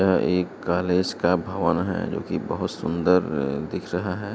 यह एक कॉलेज का भवन है जोकि बोहोत सुंदर दिख रहा है।